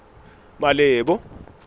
malebo